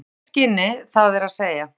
Í lækningaskyni það er að segja?